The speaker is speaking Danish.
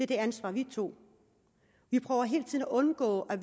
det ansvar vi tog vi prøver hele tiden at undgå at